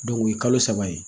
o ye kalo saba ye